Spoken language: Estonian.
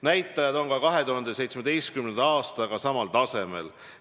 Näitajad on 2017. aasta näitajatega samal tasemel.